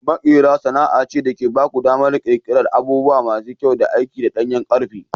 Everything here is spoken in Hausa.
Maƙera sana'a ce da ke ba ku damar ƙirƙirar abubuwa masu kyau da aiki daga ɗanyen ƙarfe.